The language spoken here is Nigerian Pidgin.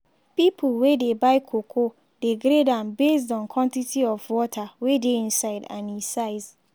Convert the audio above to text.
pipo wey dey buy cocoa dey grade am based on quantity of water wey dey inside and e size.